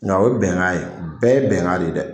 Nga o ye bɛnkan ye .Bɛɛ ye bɛnkan de dɛ.